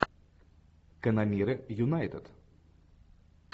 канониры юнайтед